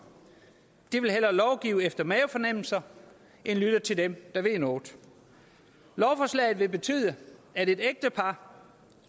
de vil efter mavefornemmelser end lytte til dem der ved noget lovforslaget vil betyde at et ægtepar